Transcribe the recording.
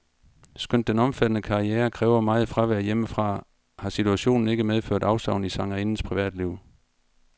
Skønt den omfattende karriere kræver meget fravær hjemmefra, har situationen ikke medført afsavn i sangerindens privatliv.